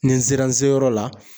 Ni n sera n seyɔrɔ la